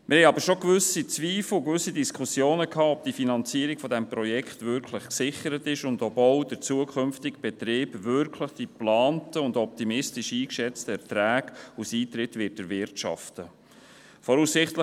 Wir haben aber schon gewisse Zweifel, gewisse Diskussionen gehabt, ob die Finanzierung dieses Projekts wirklich gesichert ist, und ob auch der zukünftige Betrieb wirklich die geplanten und optimistisch eingeschätzten Erträge aus Eintritten erwirtschaften wird.